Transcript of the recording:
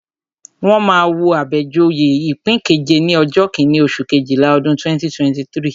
Wọ́n máa wo Abejoye ipin keje ní ọjọ́ kíní, oṣù Kejìlá, ọdún 2023.